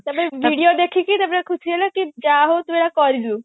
ତାପରେ video ଦେଖିକି ତାପରେ ଖୁସି ହେଲେ କି ଯାହା ହଉ ତୁ ଏଗୁଡା କରିଲୁ